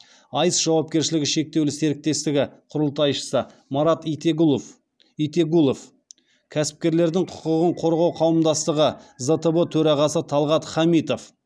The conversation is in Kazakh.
айс жауапкершілігі шектеулі серіктестігі құрылтайшысы марат итегұлов итегулов кәсіпкерлердің құқығын қорғау қауымдастығы зтб төрағасы талғат хамитов